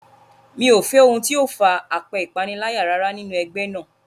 Mi ò fẹ́ ohun tí ó far apẹ́ ìpaniláyà rárá nínú ẹgbẹ́ náà.